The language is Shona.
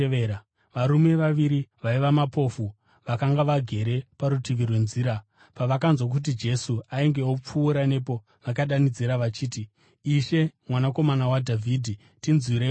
Varume vaviri vaiva mapofu vakanga vagere parutivi rwenzira, pavakanzwa kuti Jesu ainge opfuura nepo vakadanidzira vachiti, “Ishe, Mwanakomana waDhavhidhi, tinzwireiwo ngoni!”